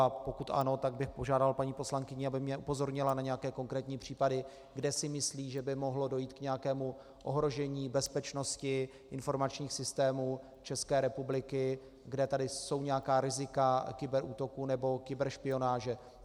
A pokud ano, tak bych požádal paní poslankyni, aby mě upozornila na nějaké konkrétní případy, kde si myslí, že by mohlo dojít k nějakému ohrožení bezpečnosti informačních systémů České republiky, kde tady jsou nějaká rizika kyberútoků nebo kyberšpionáže.